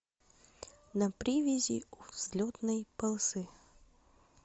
на привязи у взлетной полосы